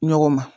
Ɲɔgɔn ma